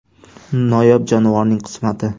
Noyob jonivorning qismati.